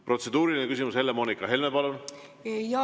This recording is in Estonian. Protseduuriline küsimus, Helle‑Moonika Helme, palun!